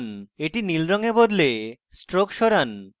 এটি নীল রঙে বদলান stroke সরান